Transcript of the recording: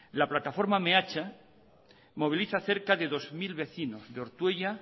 la plataforma meatza moviliza cerca de dos mil vecinos de ortuella